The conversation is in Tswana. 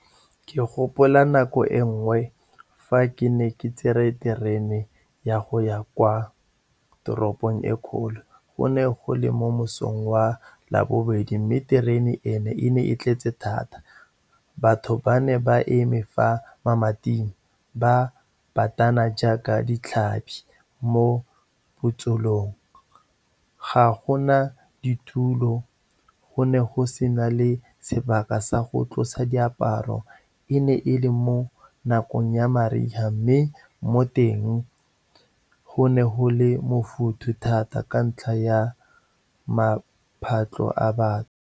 Ke gopola nako e nngwe fa ke ne ke tsere terene ya go ya kwa toropong e kgolo. Go ne go le mo mosong wa Labobedi, mme terene eno e ne e tletse thata. Batho ba ne ba eme fa mamating, ba batana jaaka ditlhapi mo botsolong. Ga gona ditulo, go ne go sena le sebaka sa go tlosa diaparo. E ne e le mo nakong ya mariga, mme mo teng go ne go le mofutha thata ka ntlha ya maphatlo a .